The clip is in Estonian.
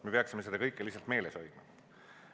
Me peaksime seda kõike lihtsalt meeles hoidma.